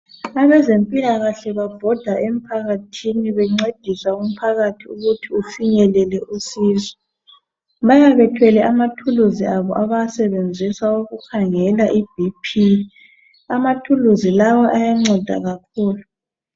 Abezempilakahle babhoda emphakathi bencedisa umphathakathi ukuthi ufinyelele usizo. Bayabe bethwele ama thuluzi abo abawasebenzisa ukukhangela i BP ama thuluzi lawa ayanceda kakhulu.